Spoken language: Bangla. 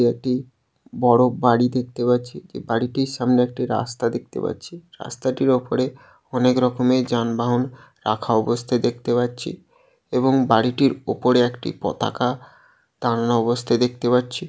এটি বড়ো বাড়ি দেখতে পাচ্ছি। বাড়িটির সামনে একটি রাস্তা দেখতে পাচ্ছি। রাস্তাটির ওপরে অনেক রকমের যানবাহন রাখা অবস্থায় দেখতে পাচ্ছি এবং বাড়িটির উপরে একটি পতাকা টাঙা অবস্থায় দেখতে পাচ্ছি।